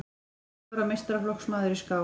Níu ára meistaraflokksmaður í skák